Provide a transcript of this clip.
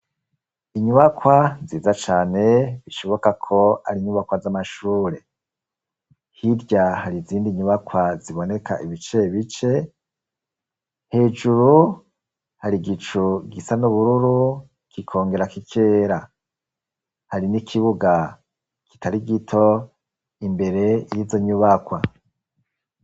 Inyubakwa nziza cane bishoboka ko ari nyubakwa z'amashure. hirya hari izindi nyubakwa ziboneka ibice bice hejuru hari igicu gisa n'ubururu kikongera kikera hari n'ikibuga kitari gito imbere y'izo nyubakwa.